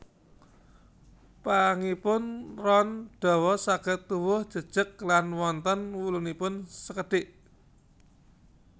Pangipun ron dawa saged tuwuh jejeg lan wonten wulunipun sekedhik